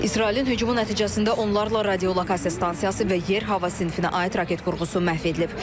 İsrailin hücumu nəticəsində onlarla radiolokasiya stansiyası və yer hava sinfinə aid raket qurğusu məhv edilib.